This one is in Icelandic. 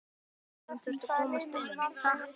Lögreglan þurfti að komast inn, takk!